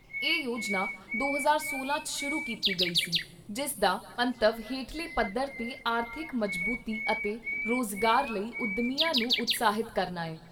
ਇਹ ਯੋਜਨਾ ਦੋ ਹਜ਼ਾਰ ਸੋਲਾਂ 'ਚ ਸ਼ੁਰੂ ਕੀਤੀ ਗਈ ਸੀ ਜਿਸ ਦਾ ਮੰਤਵ ਹੇਠਲੇ ਪੱਧਰ 'ਤੇ ਆਰਥਿਕ ਮਜਬੂਤੀ ਅਤੇ ਰੋਜ਼ਗਾਰ ਲਈ ਉੱਦਮੀਆਂ ਨੂੰ ਉਤਸ਼ਾਹਿਤ ਕਰਨਾ ਐ।